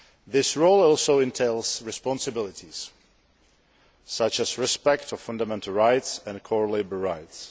This role also entails responsibilities, such as respect for fundamental rights and core labour rights.